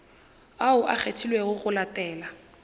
ao a kgethilwego go latela